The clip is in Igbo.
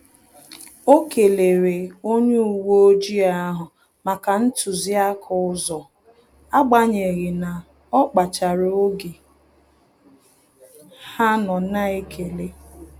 O kelere onye uwe ojii ahụ maka ntuziaka ụzọ, agbanyeghi na ọ kpachara oge ha nọ na-ekele